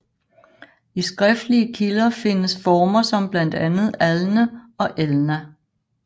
I skriftlige kilder findes former som blandt andet Alne og Elna